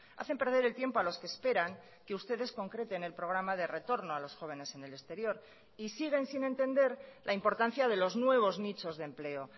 hacen perder el tiempo a los que esperan que ustedes concreten el programa de retorno a los jóvenes en el exterior y siguen sin entender la importancia de los nuevos nichos de empleo